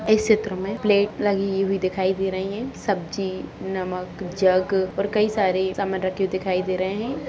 इस चित्र में प्लेट लगी हुई दिखाई दे रही हैं| सब्जी नमक जग और कई सारे सामान रक्खे हुए दिखाई दे रहे हैं।